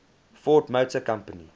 ford motor company